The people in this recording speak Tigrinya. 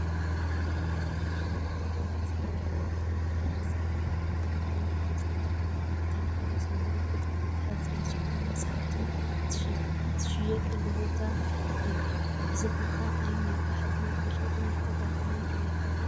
ኣብ ሓደ ዝተፈላለዩ ዓይነታት መፅሓፍቲ ከም ታሪካዊ ፍፃመታት ኢ/ያን ነገስታትን፣ ንተምሃሮ ዘምህሩ ፍልጠት ሓዘል ዝኾኑ መፅሓፍቲ ዝሽየጠሉ ቦታ እዩ፡፡ እዚ ቦታ ኣብ ሜጋ ሕትመት መሸጥን መከፋፈልን ዶ ይኸውን?